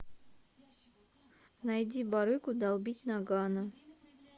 найди барыгу долбить ноггано